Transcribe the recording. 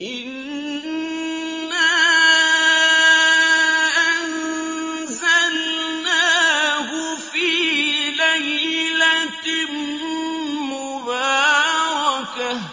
إِنَّا أَنزَلْنَاهُ فِي لَيْلَةٍ مُّبَارَكَةٍ ۚ